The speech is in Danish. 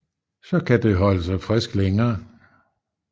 Så kan det holde sig frisk længere